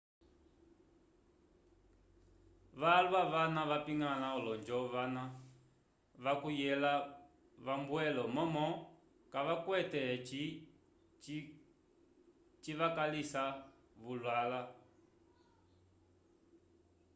valwa vana vapingala olonjo vana vacuyela vambwelo momo cavacwete egi civakalisa vulala